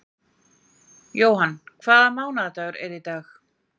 Johan, hvaða mánaðardagur er í dag?